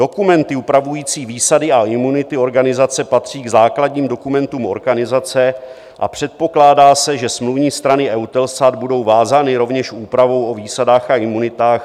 Dokumenty upravující výsady a imunity organizace patří k základním dokumentům organizace a předpokládá se, že smluvní strany EUTELSAT budou vázány rovněž úpravou o výsadách a imunitách.